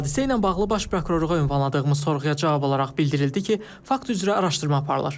Hadisə ilə bağlı Baş Prokurorluğa ünvanladığımız sorğuya cavab olaraq bildirildi ki, fakt üzrə araşdırma aparılır.